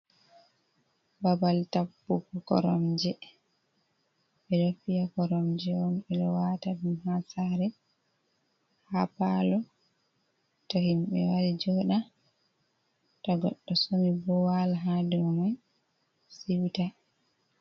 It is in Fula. Babal tappugo koromje, ɓe ɗo piya koromje on ɓe ɗo wata ɗum ha saare, ha palo, to himɓe wari joɗa, ta goɗɗo somi bo wala ha dow me siuta.